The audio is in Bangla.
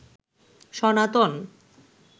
সনাতন